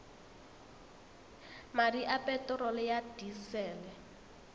madi a peterolo ya disele